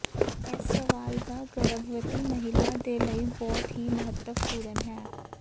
ਇਸ ਸਵਾਲ ਦਾ ਗਰਭਵਤੀ ਮਹਿਲਾ ਦੇ ਲਈ ਬਹੁਤ ਹੀ ਮਹੱਤਵਪੂਰਨ ਹੈ